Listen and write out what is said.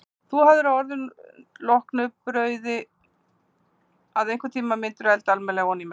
Þú hafðir á orði að loknu brauði að einhvern tímann mundirðu elda alminlega ofaní mig.